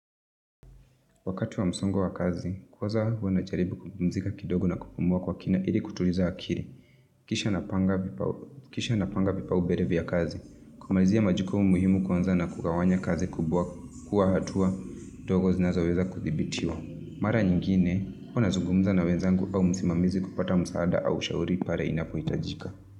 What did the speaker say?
Wakati wa msongo wa kazi, kwaza huanacharibu kupumzika kidogo na kupumua kwa kina ili kutuliza akiri. Kisha napanga vipa ubere vya kazi. Kumalizia majikumu muhimu kwanza na kugawanya kazi kubuwa kuwa hatua dogo zinazoweza kuthibitiwa. Mara nyingine, huanazugumza na wenzangu au musimamizi kupata msaada au ushauri pare inapo hitajika.